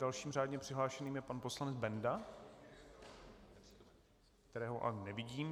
Dalším řádně přihlášeným je pan poslanec Benda, kterého ale nevidím.